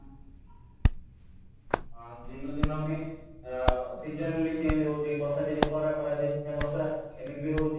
ଅ ଦିନକୁ ଦିନ ବି ଅ season ଗୁଡା ବି change ହଉଛି ବର୍ଷ ଦିନେ ଖରା ଖରାଦିନେ ବର୍ଷ ଏମିତି ବି ହଉଛି